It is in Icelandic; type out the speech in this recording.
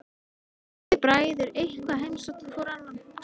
Getið þið bræður eitthvað heimsótt hvor annan?